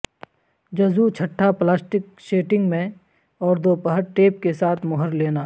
جزو چھٹا plastic sheeting میں اور دوپہر ٹیپ کے ساتھ مہر لینا